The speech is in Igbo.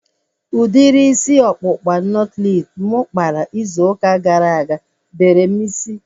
Udiri isi ọkpụkpa nọtlees mụ kpara izu ụka gara aga bere m isi